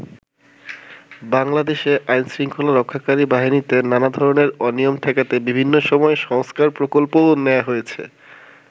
বাংলাদেশে আইন শৃঙ্খলা রক্ষাকারী বাহিনীতে নানা ধরনের অনিয়ম ঠেকাতে বিভিন্ন সময়ে সংস্কার প্রকল্পও নেয়া হয়েছে।